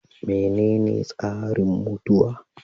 Menene tsarin mutuwa?